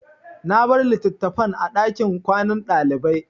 Na bar litattafan a ɗakin kwanan ɗalibai.